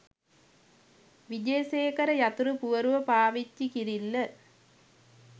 විජේසේකර" යතුරු පුවරුව පාවිච්චි කිරිල්ල.